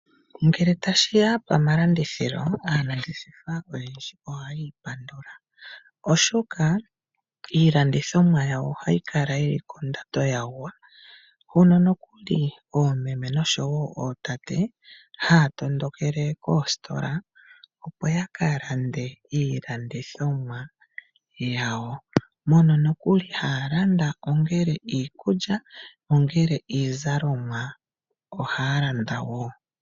Ngele tashi ya pamalandithilo aantu oyendji ohayi ipandandula, oshoka iilandithomwa yawo ohayi kala kondando yagwa. Hono nokuli oomeme noshowo ootate haa tondokele koositola opo ya ka lande iilandithomwa yawo. Mono nokuli haya landa ongele iikulya, ongele iizalomwa ohaa landa wo.